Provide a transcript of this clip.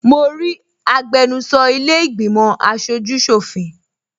Mo rí agbẹnusọ ilẹ́ ìgbìmọ̀ aṣojú ṣọ̀fin